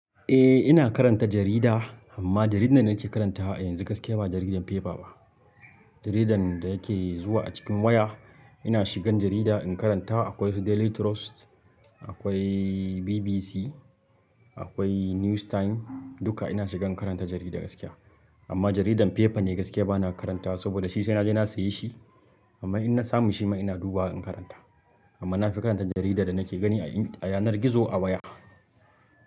Eh ina karanta jarida amma jaridar da nake karanta a yanzu gaskiya ba jaridar fefa ba. Jaridar da yake zuwa a cikin waya. Ina shigan jarida in karanta akwai su Daily Trust, akwai BBC, akwai News Time duka ina shigan karanta jarida gaskiya. Amma jaridan fefa ne gaskiya bana karantawa saboda shi sai naje na siya shi. Amma in na samu shi ma ina duba in karanta. Amma nafi karanta jaridar da nake gani a yanar gizo a waya.